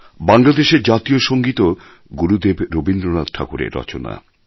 বাংলাদেশের জাতীয় সঙ্গীতও গুরুদেব রবীন্দ্রনাথ ঠাকুরের রচনা